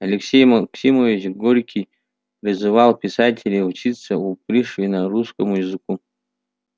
алексей максимович горький призывал писателей учиться у пришвина русскому языку